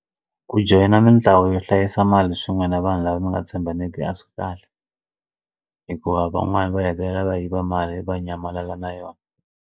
Ku joyina mitlawa yo hlayisa mali swin'we na vanhu lava mi nga tshembani a swi kahle hikuva van'wani va hetelela va yiva mali va nyamalala na yona.